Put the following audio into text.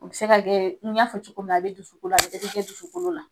O bi se ka kɛ, n y'a fɔ cogo min na, a bi dusukolo la, a bi kɛ dusukolo la.